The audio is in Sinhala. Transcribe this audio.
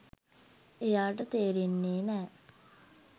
එයාට තේරෙන්නේ නෑ.